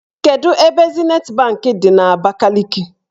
Kedu ebe Zinet banki dị n'Abakaliki?